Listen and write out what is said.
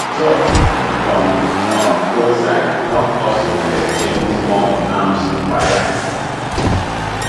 troops from um both sides don also exchange small arms fire